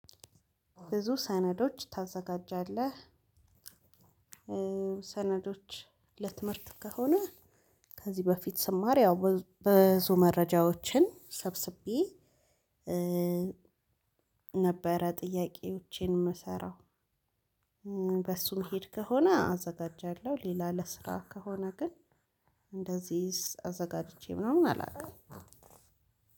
ብዙ ሰነዶች ታዘጋጃለህ? ሰነዶች ለትምህርት ከሆነ ከዚህ በፊት ስማር ያው ብዙ መረጃዎችን ሰብስቤ ነበረ ጥያቄዎቼን እምሰራ በሱም እሚሄድ ከሆነ አዘጋጃለሁ። ሌላ ለስራ ከሆነ ግን እንደዚህ አዘጋጅቼ ምናምን አላውቅም።